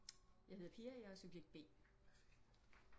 Jeg hedder Pia og jeg er subjekt B